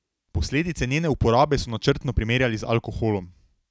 Posledice njene uporabe so načrtno primerjali z alkoholom.